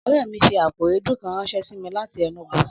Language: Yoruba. Ọ̀rẹ́ mi fi àpò èédú kan ránṣẹ́ sí mi láti Enugu